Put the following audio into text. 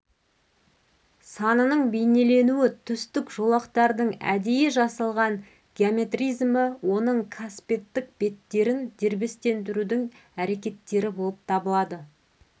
санының бейнеленуі түстік жолақтардың әдейі жасалған геометризмі оның қасбеттік беттерін дербестендірудің әрекеттері болып табылады